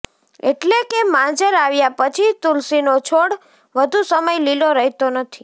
એટલે કે માંજર આવ્યા પછી તુલસીનો છોડ વધુ સમય લીલો રહેતો નથી